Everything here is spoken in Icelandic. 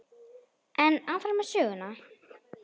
En áfram með söguna.